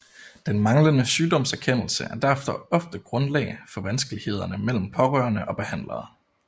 Den manglende sygdomserkendelse er derfor ofte grundlag for vanskelighederne mellem pårørende og behandlere